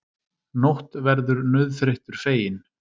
Nótt verður nauðþreyttur feginn.